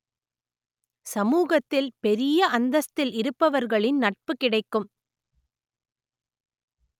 சமூகத்தில் பெரிய அந்தஸ்தில் இருப்பவர்களின் நட்பு கிடைக்கும்